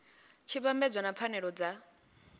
tshi vhambedzwa na pfanelo dza